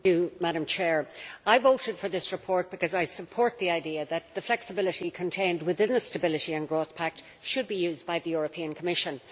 Madam President, I voted for this report because I support the idea that the flexibility contained within the Stability and Growth Pact should be used by the Commission.